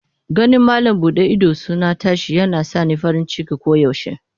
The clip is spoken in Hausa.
Ganin malam bude idosuna tashi yana sa ni farin ciki koyaushe.